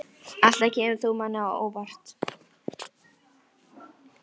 Alltaf kemur þú manni á óvart.